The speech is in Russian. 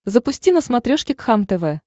запусти на смотрешке кхлм тв